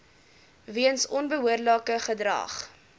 weens onbehoorlike gedrag